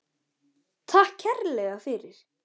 Takk kærlega fyrir.